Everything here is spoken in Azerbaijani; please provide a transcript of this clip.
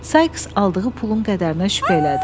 Saiks aldığı pulun qədərinə şübhə elədi.